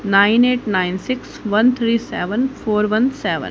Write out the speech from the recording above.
Nine eight nine six one three seven four one seven.